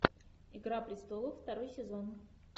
игра престолов второй сезон